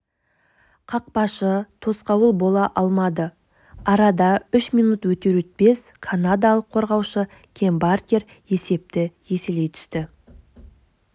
қақпашы тосқауыл бола алмады арада үш минут өтер-өтпес канадалық қорғаушы кэм баркер есепті еселей түсті